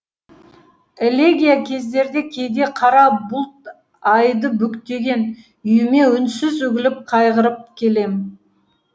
элегия кездерде кейде қара бұлт айды бүктеген үйіме үнсіз үгіліп қайғырып келем